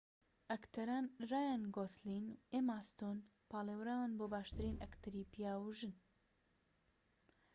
ئەکتەران رایان گۆسلین و ئێما ستۆن پاڵێوران بۆ باشترین ئەکتەری پیاو و ژن